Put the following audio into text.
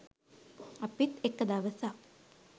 අපිත් එක දවසක්